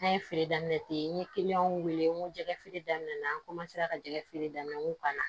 An ye feere daminɛ ten n ye wele n ko jɛgɛfeere daminɛ na n ka jɛgɛ feere daminɛ n ko ka na